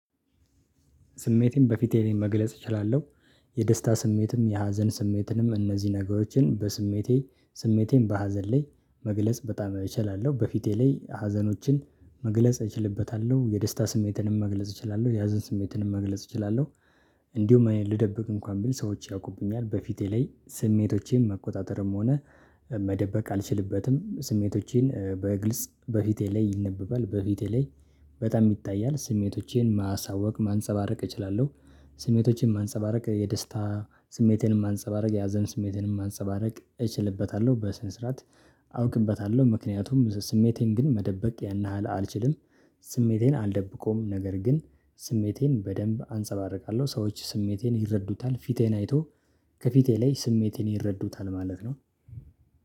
ስሜቴን በፊቴ ላይ መግለጽ እችላለሁ። የደስታ ስሜትም የሀዘን ስሜትንም እነዚህ ነገሮችን በስሜቴ ስሜቴን በሀዘን ላይ መግለጽ በጣም እችላለሁ በፊቴ ላይ ሀዘኖችን መግለጽ እችልበታለሁ የደስታ ስሜትንም መግለጽ እችላለሁ የሀዘን ስሜትንም መግለጽ እችላለሁ። እንዲሁ ልደብቅ እንኳን ብል ሰዎች ያውቁብኛል በፊቴ ላይ ስሜቶቼን መቆጣጠርም ሆነ መደበቅ አልችልበትም ስሜቶቼን በግልጽ በፊቴ ላይ ይነበባል በፊቴ ላይ በጣም ይታያል ስሜቶቼን ማሳወቅ ማንፀባረቅ እችላለሁ። ስሜቶችን ማንፀባረቅ የደስታ ስሜቴንም ማንፀባረቅ የሀዘን ስሜቴንም ማንፀባረቅ እችልበታለሁ በስነ ስርዓት አውቅበታለሁ ምክንያቱም ስሜቴን ግን መደበቅ ያን ያህል አልችልም። ስሜቴን አልደብቆም ነገር ግን ስሜቴን በደንብ አንፀባርቃለሁ ሰዎች ስሜቴን ይረዱታል ፊቴን አይቶ ከፊቴ ላይ ስሜቴን ይረዱታል ማለት ነው